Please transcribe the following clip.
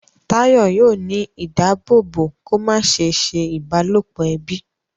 Tayo yóò ní ìdáàbòbò kò má se ṣe ìbálòpọ̀ ẹbí.